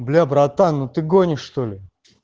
бля братан ну ты гонишь что ли